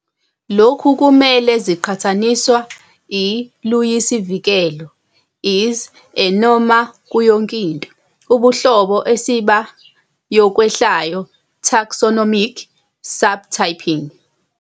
Lokhu kumele ziqhathaniswa i "luyisivikelo" "is_a" noma "kuyinto" Ubuhlobo esiba yokwehlayo taxonomic, subtyping.